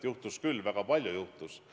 Juhtus küll, väga palju juhtus.